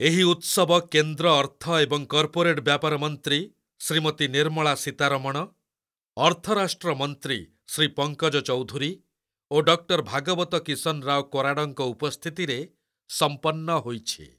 ଏହି ଉତ୍ସବ କେନ୍ଦ୍ର ଅର୍ଥ ଏବଂ କର୍ପୋରେଟ ବ୍ୟାପାର ମନ୍ତ୍ରୀ ଶ୍ରୀମତୀ ନିର୍ମଳା ସୀତାରମଣ, ଅର୍ଥ ରାଷ୍ଟ୍ର ମନ୍ତ୍ରୀ ଶ୍ରୀ ପଙ୍କଜ ଚୌଧୁରୀ ଓ ଡକ୍ଟର ଭାଗବତ କିଶନରାଓ କରାଡଙ୍କ ଉପସ୍ଥିତିରେ ସମ୍ପନ୍ନ ହୋଇଛି।